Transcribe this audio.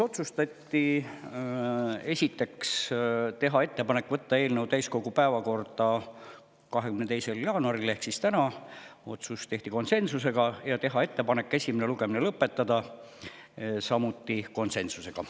Otsustati, esiteks, teha ettepanek võtta eelnõu täiskogu päevakorda 22. jaanuariks ehk tänaseks, otsus tehti konsensusega, ja teha ettepanek esimene lugemine lõpetada, samuti konsensusega.